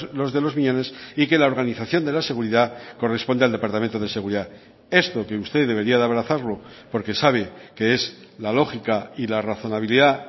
los de los miñones y que la organización de la seguridad corresponde al departamento de seguridad esto que usted debería de abrazarlo porque sabe que es la lógica y la razonabilidad